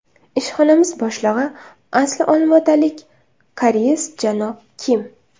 Ishxonamiz boshlig‘i asli olmaotalik koreys janob Kim.